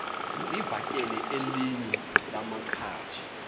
livakele elinye lamaqhaji